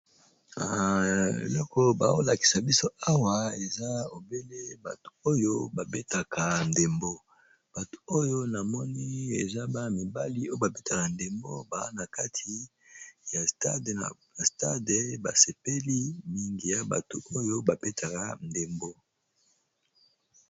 Eloko bao lakisa biso awa eza obele bato oyo ba betaka ndembo, bato oyo na moni eza ba mibali oyo ba betaka ndembo ba na kati ya stade ba sepeli mingi ya bato oyo ba betaka ndembo.